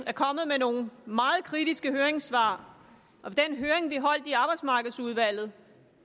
er kommet med nogle meget kritiske høringssvar og ved den høring vi holdt i arbejdsmarkedsudvalget